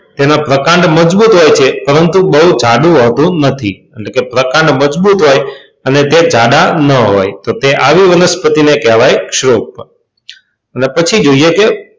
તેનો પ્રકાંડ મજબૂત હોય છે પરંતુ બહુ જાડું હોતું નથી એટલે કે પ્રકાંડ મજબૂત હોય અને તે જાડા ન હોય તો તે આવી વનસ્પતિને કહેવામાં આવે છે ક્ષુપ અને પછી જોઈએ છે,